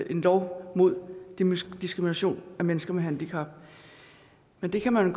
en lov mod diskrimination af mennesker med handicap men det kan man